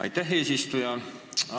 Aitäh, eesistuja!